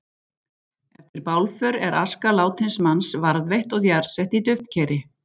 Eftir bálför er aska látins manns varðveitt og jarðsett í duftkeri.